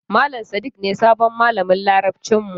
Malam Sadik ne sabon malamin Larabcin mu.